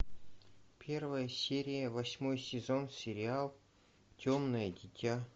первая серия восьмой сезон сериал темное дитя